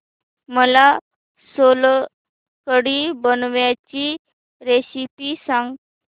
मला सोलकढी बनवायची रेसिपी सांग